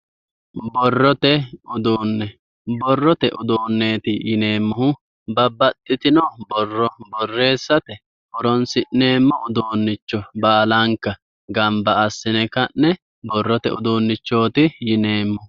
Borrote uduune, borrote uduuneti yineemmohu babbaxitino borro borreessate horonsi'neemmo uduunicho baallanka gamba assine ka'ne borrote uduunichoti yineemmo.